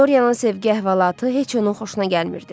Dorianın sevgi əhvalatı heç onun xoşuna gəlmirdi.